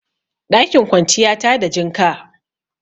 Ɗakin kwanciya tada jinka